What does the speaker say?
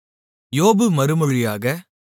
யோபு மறுமொழியாக